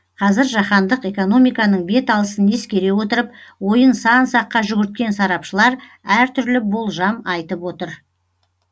қазір жаһандық экономиканың бет алысын ескере отырып ойын сан саққа жүгірткен сарапшылар әр түрлі болжам айтып отыр